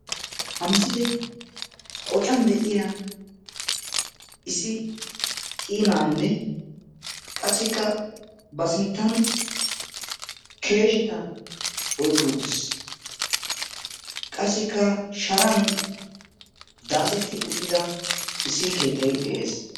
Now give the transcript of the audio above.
Ha misilee qocan de'iya issi qii naanne qassikka ba sinttan keesheta oyqqi uttiis. Qassikka sharan daasetti uttida issi keettay de'ees.